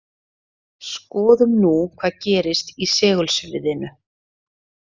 Skoðum nú hvað gerist í segulsviðinu.